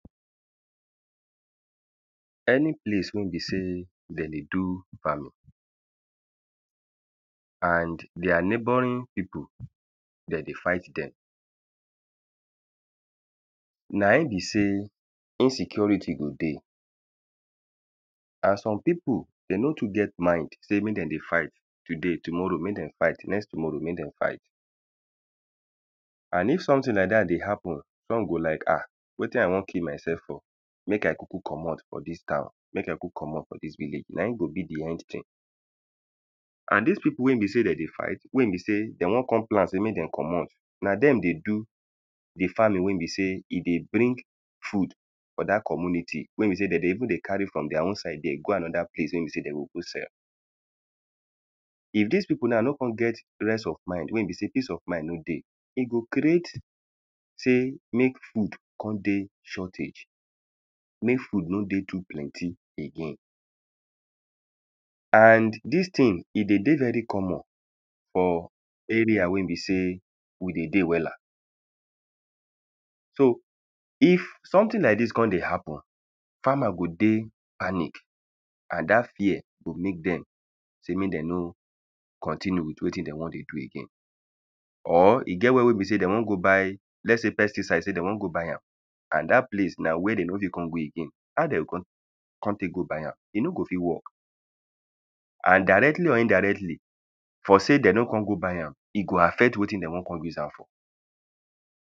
any place wen be sey den dey do farming and their neighboring people den dey fight dem na in be sey insecurity go dey and some pipu dey no too get mind sey mek den dey fight today tomorow mek den fight next tomorow mek den fight and if sometin like dat dey happen wen we go like wetin i won kill myself for mek i kuku commot for dis town mek i kuku commot for dis village na in be next tin and dis pipu wen be sey dey dey fight wen be sey de won kon plan sey mek den comot na dem dey do di farming we be sey e dey bring food for dat community wen be sey de dey even dey carry from their own side there go anoda place wen be se de oh go sell if dis pipu na no kon get rest of mind wen be sey peace of mind no dey e go create sey mek food kon dey shortage sey mek food no dey too plenty again and dis tin e dey dey very common for area wen be sey we dey dey wella so if sometin like dis kon dey happen farmers go dey panic and dat fear go mek dem sey mek den no continue with wetin de won dey do again or e get where be sey den won go buy let say pesticide sey de won go buy am and dat place na where de no de kon go again how dey go won buy am e no go fit work and directly or indirectly for de de no kon go buy am e go affect wetin den won go use am for